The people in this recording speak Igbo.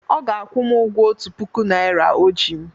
Ọ ga-akwụ m ụgwọ otu puku naira o ji m.